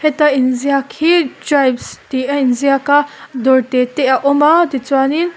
heta inziak hi tribes tih a inziak a dawr te te a awm a tichuanin--